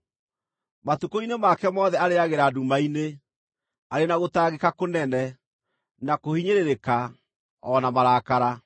Matukũ-inĩ make mothe arĩĩagĩra nduma-inĩ, arĩ na gũtangĩka kũnene, na kũhinyĩrĩrĩka, o na marakara.